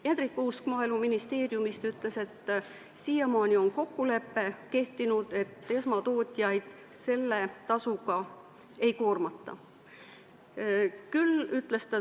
Hendrik Kuusk Maaeluministeeriumist ütles, et siiamaani on kehtinud kokkulepe, et esmatootjaid selle tasuga ei koormata.